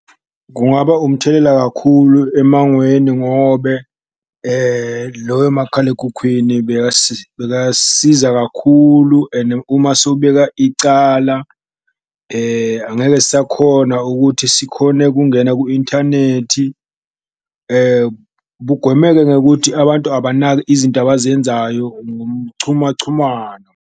Kungaba umthelela kakhulu emangweni ngobe loyo makhalekhukhwini bakasiza kakhulu ene uma sowubeka icala angeke sakhona ukuthi sikhone kungena ku-inthanethi. Kugwemeke ngekuthi abantu abanaki izinto abazenzayo ngomchumachumano.